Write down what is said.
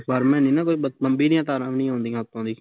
ਮੰਡੀ ਦੀਆ ਤਾਰਾ ਵੀ ਨੀ ਆਉਂਦਿਆ ਉੱਤੋਂ ਸੀ